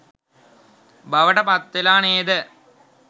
බවට පත්වෙලා නේද?